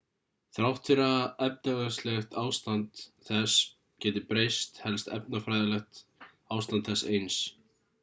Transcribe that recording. þrátt fyrir að efnislegt ástand þess geti breyst helst efnafræðilegt ástand þess eins